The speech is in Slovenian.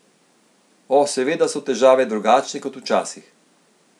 O, seveda so težave drugačne kot včasih.